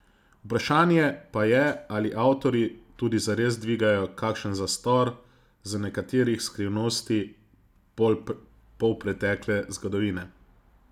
Vprašanje pa je, ali avtorji tudi zares dvigajo kakšen zastor z nekaterih skrivnosti polpretekle zgodovine.